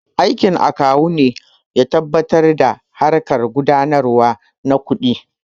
Aikin Akawu ne ya tabbatar da harƙan gudanarwa na kuɗi